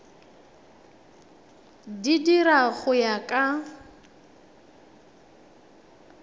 di dira go ya ka